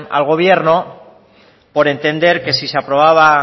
al gobierno por entender que si se aprobaba